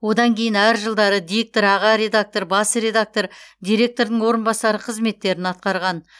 одан кейін әр жылдары диктор аға редактор бас редактор директордың орынбасары қызметтерін атқарған